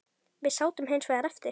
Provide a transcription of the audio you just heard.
Við sátum hins vegar eftir.